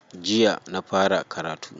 Jiya na fara karatu.